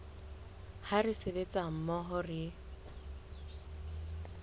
ha re sebetsa mmoho re